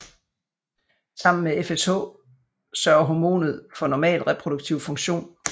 Sammen med FSH sørger hormonet for normal reproduktiv funktion